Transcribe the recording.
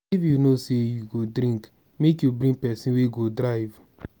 if you know sey you go drink make you bring pesin wey go drive.